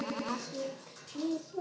Styttan stendur í fögrum boga.